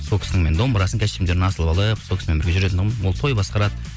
сол кісінің мен домбырасын костюмдерін асылып алып сол кісімен жүретін тұғынмын ол той басқарады